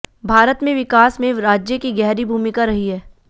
भारत के विकास में राज्य की गहरी भूमिका रही है